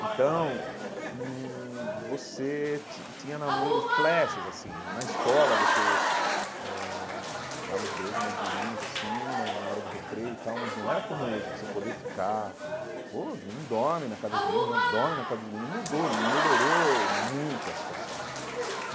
Então hum, você ti tinha namoros flashes, assim, na escola você eh dava uns beijos nas meninas, assim, mas na hora do recreio e tal, mas não era como hoje, você poder ficar oh, os meninos dormem na casa das meninas, dormem na casa dos meninos, mudou, melhorou muito a situação.